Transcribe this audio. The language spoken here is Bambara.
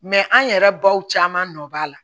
an yɛrɛ baw caman nɔ b'a la